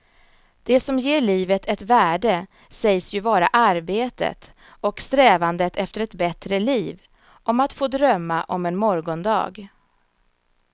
Det som ger livet ett värde sägs ju vara arbetet och strävandet efter ett bättre liv, om att få drömma om en morgondag.